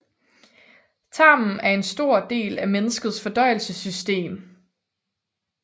Tarmen er en stor del af menneskets fordøjelsessystem